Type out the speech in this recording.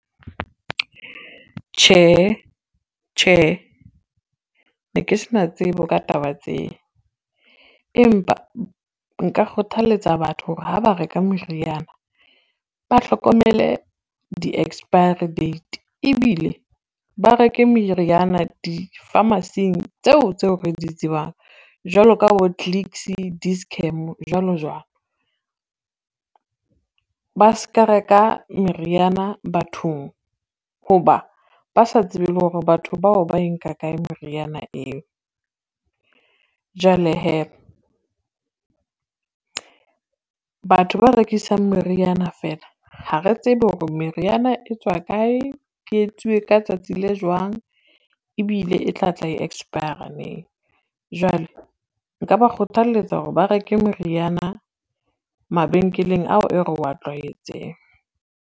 Tjhehe, tjhehe, ne ke se na tsebo ka taba tse, empa nka kgothaletsa batho hore ha ba reka meriana ba hlokomele di-expiry date ebile ba reke meriana di-pharmacy-eng tseo tseo re di tsebang jwalo ka bo Clicks, Dischem jwalo jwalo. Ba ska reka meriana bathong ho ba ba sa tsebe le hore batho bao ba e nka kae meriana eo, jwale hee batho ba rekisang meriana fela ha re tsebe hore meriana e tswa kae, e etsuwe ka tsatsi le jwang ebile e tla tla e expire-a neng. Jwale nka ba kgothaletsa hore ba reke meriana mabenkeleng ao e re wa tlwaetseng.